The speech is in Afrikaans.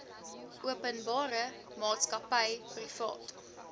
openbare maatskappy privaat